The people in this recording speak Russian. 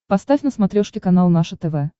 поставь на смотрешке канал наше тв